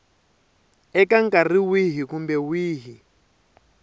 eka nkarhi wihi kumbe wihi